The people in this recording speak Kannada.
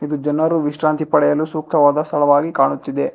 ಇದು ಜನರು ವಿಶ್ರಾಂತಿ ಪಡೆಯಲು ಸೂಕ್ತವಾದ ಸ್ಥಳವಾಗಿ ಕಾಣುತ್ತಿದೆ.